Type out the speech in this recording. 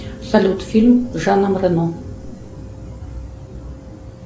салют фильм с жаном рено